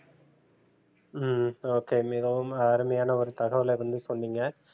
ஹம் okay மிகவும் அருமையான ஒரு தகவல வந்து சொன்னிங்க